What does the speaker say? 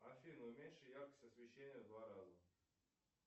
афина уменьши яркость освещения в два раза